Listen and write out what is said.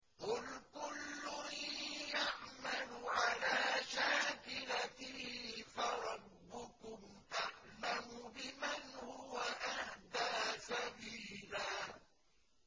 قُلْ كُلٌّ يَعْمَلُ عَلَىٰ شَاكِلَتِهِ فَرَبُّكُمْ أَعْلَمُ بِمَنْ هُوَ أَهْدَىٰ سَبِيلًا